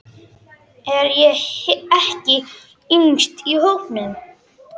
Er ég ekki yngst í hópnum?